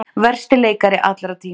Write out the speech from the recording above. Versti leikari allra tíma